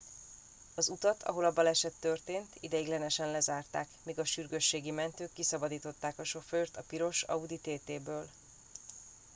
az utat ahol a baleset történt ideiglenesen lezárták míg a sürgősségi mentők kiszabadították a sofőrt a piros audi tt ből